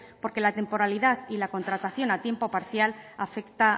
porque la temporalidad y la contratación a tiempo parcial afecta